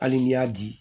Hali n'i y'a di